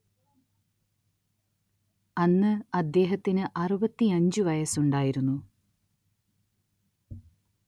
അന്ന് അദ്ദേഹത്തിന് അറുപത്തിയഞ്ച് വയസ്സുണ്ടായിരുന്നു.